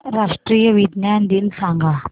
राष्ट्रीय विज्ञान दिन सांगा